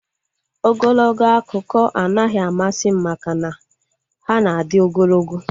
Ogologo akụkọ anaghị amasị m maka na ha na adị ogologo